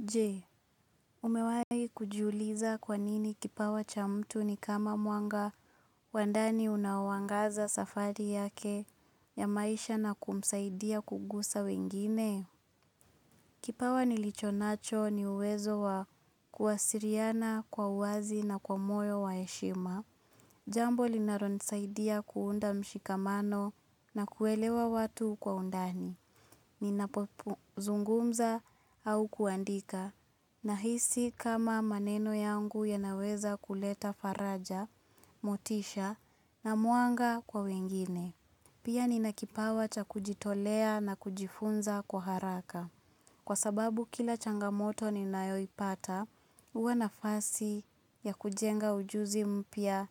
Je, umewahi kujiuliza kwa nini kipawa cha mtu ni kama mwanga wa ndani unaoangaza safari yake ya maisha na kumsaidia kugusa wengine? Kipawa nilichonacho ni uwezo wa kuwasiliana kwa uwazi na kwa moyo wa heshima. Jambo linalonisaidia kuunda mshikamano na kuelewa watu kwa undani. Ninapozungumza au kuandika. Nahisi kama maneno yangu yanaweza kuleta faraja, motisha, na mwanga kwa wengine. Pia ninakipawa cha kujitolea na kujifunza kwa haraka. Kwa sababu kila changamoto ninayoipata, huwa nafasi ya kujenga ujuzi mpya